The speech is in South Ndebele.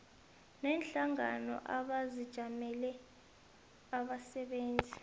neenhlangano ezijamele abasebenzi